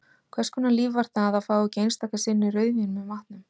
Hvers konar líf var það að fá ekki einstaka sinnum rauðvín með matnum?